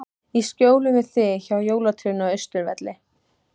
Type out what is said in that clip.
Í skjóli við þig, hjá jólatrénu á Austurvelli.